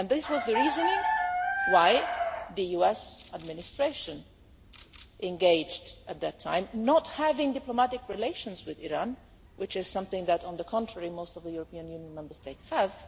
This was the reason why the US administration engaged in this at that time, not having diplomatic relations with Iran, which is something that on the contrary most of the European Union Member States have.